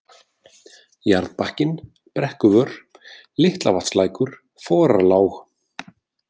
Jarðbakkinn, Brekkuvör, Litlavatnslækur, Forarlág